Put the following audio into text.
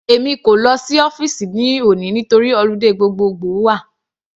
Èmi kò lọ sí ọ́fìsì ní òní nítorí holiday gbogbogbo wà.